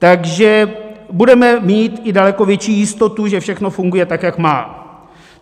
Takže budeme mít i daleko větší jistotu, že všechno funguje, tak jak má.